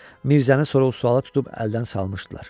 Mirzəni sorğu-suala tutub əldən salmışdılar.